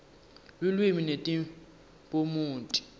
lulwimi netiphumuti